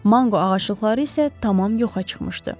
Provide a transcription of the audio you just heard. Mango ağaclıqları isə tamam yoxa çıxmışdı.